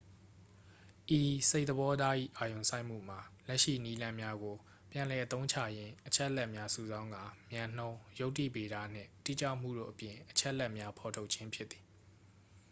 ဤစိတ်သဘောထား၏ အာရုံစိုက်မှုမှာ လက်ရှိနည်းလမ်းများကို ပြန်လည်အသုံးချရင်း အချက်အလက်များ စုဆောင်းကာ မြန်နှုန်း ယုတ္တိဗေဒနှင့် တိကျမှုတို့အပြင် အချက်လက်များ ဖော်ထုတ်ခြင်း ဖြစ်သည်